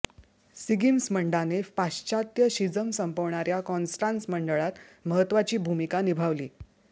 सिगिस्मंडाने पाश्चात्य शिझम संपवणाऱ्या कॉन्स्टान्स मंडळात महत्त्वाची भूमिका निभावली